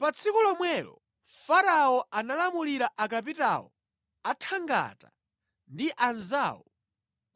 Pa tsiku lomwelo Farao analamulira akapitawo a thangata ndi anzawo